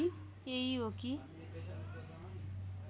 यही हो कि